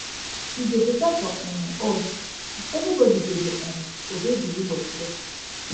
e go beta for um us if everybody go dey um obey the rule of law